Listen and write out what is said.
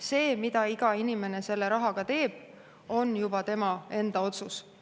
See, mida iga inimene selle rahaga teeb, on juba tema enda otsus.